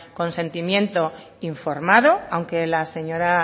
consentimiento informado aunque la señora